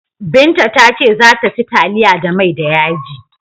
Binta ta ce za ta ci taliya da mai da yaji.